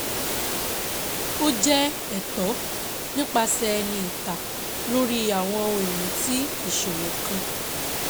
Ó jẹ́ ẹ̀tọ́ nípasẹ̀ ẹni ìta lórí àwọn ohun ìní tí ìṣòwò kan.